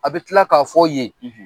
A bɛ tila k'a fɔ yen, .